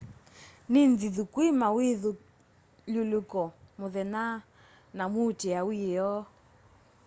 ni nthithu kwi mawithyululuko muthenya na muutia wiyoo